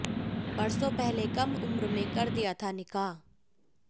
बरसों पहले कम उम्र में कर दिया था निकाह